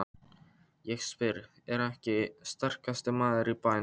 Ég spyr: Er ég ekki sterkasti maður í bænum?